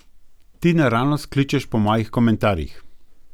Ti naravnost kličeš po mojih komentarjih.